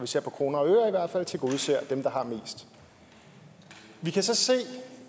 ser på kroner og øre tilgodeser dem der har mest vi kan så se